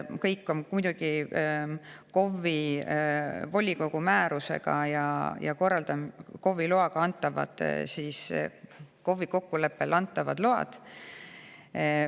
Kõik on muidugi KOV-i volikogu määrusega, KOV-iga kokkuleppel antavad load.